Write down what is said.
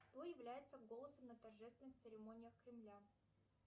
кто является голосом на торжественных церемониях кремля